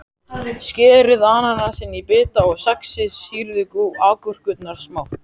Skerið ananasinn í bita og saxið sýrðu agúrkurnar smátt.